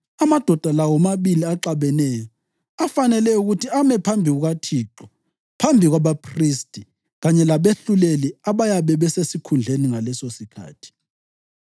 amadoda la womabili axabeneyo afanele ukuthi ame phambi kukaThixo phambi kwabaphristi kanye labehluleli abayabe besesikhundleni ngalesosikhathi.